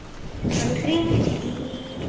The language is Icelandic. Hann hringdi í